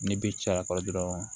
Ni bi caya kɔrɔ dɔrɔn